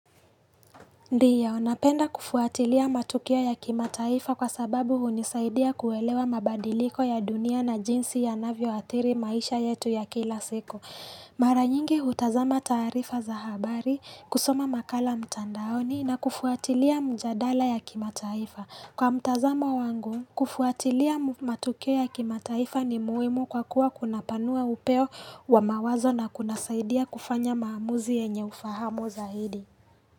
Ndiyo, napenda kufuatilia matukio ya kimataifa kwa sababu hunisaidia kuelewa mabadiliko ya dunia na jinsi yanavyo adhiri maisha yetu ya kila siku. Mara nyingi hutazama tarifa za habari, kusoma makala mtandaoni na kufuatilia mjadala ya kimataifa. Kwa mtazama wangu, kufuatilia matukio ya kimataifa ni muhimu kwa kuwa kunapanua upeo wa mawazo na kunasaidia kufanya maamuzi yenye ufahamu zaidi.